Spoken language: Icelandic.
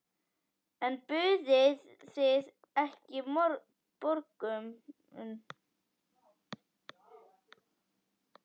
En buðuð þið ekki borgun?